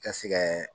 Ka se kɛ